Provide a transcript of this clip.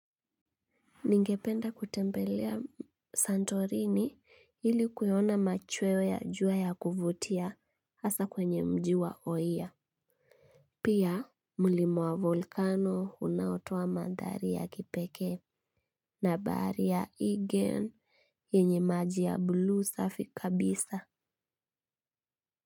Ningependa kutembelea Santorini ili kuyaona machweo ya jua ya kuvutia hasa kwenye mjiwa oia. Pia, mulima wa vulkano unautoa mandhari ya kipekee na bahari ya igen yenye maji ya bluu safi kabisa.